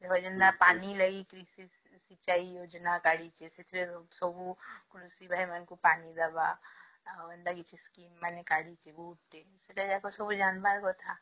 ପାଣି ଲାଗି